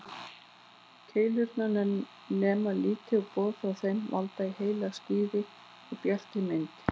Keilurnar nema liti og boð frá þeim valda í heila skýrri, bjartri mynd.